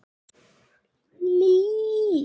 Díana úr bók.